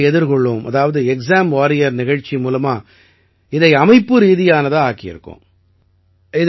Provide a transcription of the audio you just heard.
தேர்வுகளை எதிர்கொள்வோம் அதாவது எக்ஸாம் வாரியர் நிகழ்ச்சி மூலமா இதை அமைப்பு ரீதியானதா ஆக்கியிருக்கோம்